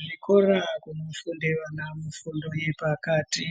Zvikora zvinofunda ana fundo yepakati